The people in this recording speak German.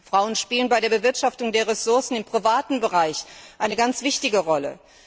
Frauen spielen bei der Bewirtschaftung der Ressourcen im privaten Bereich eine ganz wichtige Rolle.